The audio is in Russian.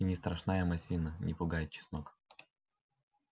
и не страшна им осина не пугает чеснок